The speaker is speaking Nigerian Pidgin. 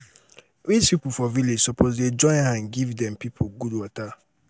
rich pipo for village suppose join hand give dem pipo good water.